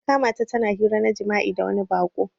Na kamata tana hira na jima'i da wani bako.